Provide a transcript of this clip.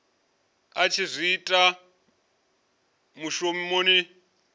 a tshi zwi ita mushumoni